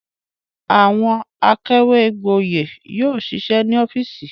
Àwọn akàwégboyè yóò ṣiṣẹ́ ní ọ́fíísì.